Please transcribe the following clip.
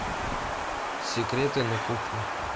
секреты на кухне